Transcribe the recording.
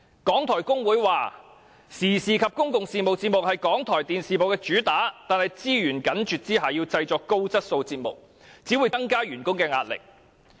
港台工會表示，時事及公共事務節目是港台電視部的主打，但在資源緊絀下製作高質素節目，只會增加員工的壓力。